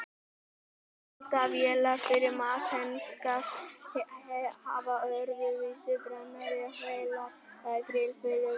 Eldavélar fyrir metangas hafa öðruvísi brennara en vélar eða grill fyrir própangas og vetni.